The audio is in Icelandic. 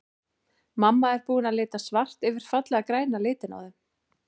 Mamma er búin að lita svart yfir fallega græna litinn á þeim.